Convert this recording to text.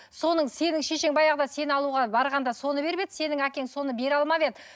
соны сенің шешең баяғыда сені алуға барғанда соны беріп еді сенің әкең соны бере алмап еді